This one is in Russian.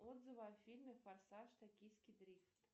отзывы о фильме форсаж токийский дрифт